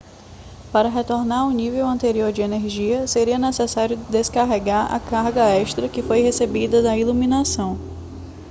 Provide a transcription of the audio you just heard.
para retornar ao nível anterior de energia seria necessário descarregar a carga extra que foi recebida da iluminação